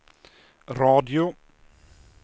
radio